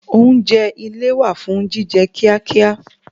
Oúnjẹ ile wà fún jíjẹ kíá kíá